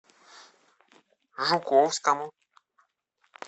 жуковскому